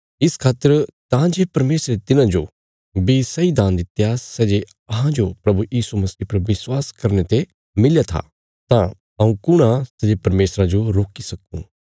इस खातर तां जे परमेशरे तिन्हांजो बी सैई दान दित्या सै जे अहांजो प्रभु यीशु मसीह पर विश्वास करने ते मिलया था तां हऊँ कुण था सै जे परमेशरा जो रोकी सकुं